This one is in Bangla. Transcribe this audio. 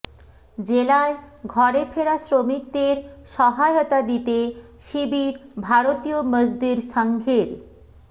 জেলায় ঘরে ফেরা শ্রমিকদের সহায়তা দিতে শিবির ভারতীয় মজদুর সংঘের